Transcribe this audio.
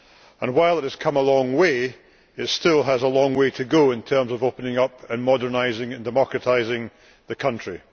And, while it has come a long way, it still has a long way to go in terms of opening up, and modernising and democratising the country.